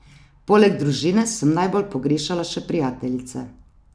Poleg družine sem najbolj pogrešala še prijateljice.